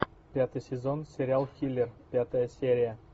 пятый сезон сериал хилер пятая серия